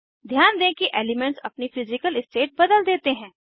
ध्यान दें कि एलीमेन्ट्स अपनी फिज़िकल स्टेट बदल देते हैं